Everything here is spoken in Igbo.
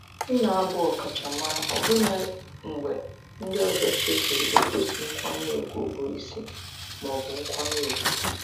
M na-abụ ọkachamara ọbụna mgbe ndị ọzọ chefuru igosi nkwanye ùgwù bụ isi ma ọ bụ nkwanye ùgwù.